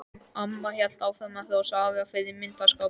Amma hélt áfram að hrósa afa fyrir myndarskapinn.